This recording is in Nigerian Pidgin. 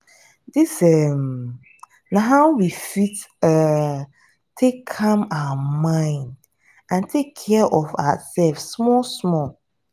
dis um na how we fit um take calm our mind and take care of our self small small